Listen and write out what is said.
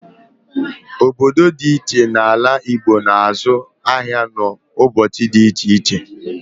Obodo dị ịche ịche n'ala Igbo na-azụ ahịa n'ụbọchị dị ịche ịche.